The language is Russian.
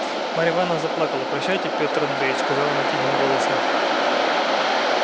марья ивановна заплакала прощайте петр андреич сказала она тихим голосом